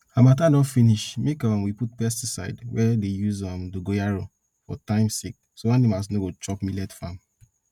harmattan don finish make um we put pesticide wey dey use um dongoyaro for time sake so animals no go chop millet farm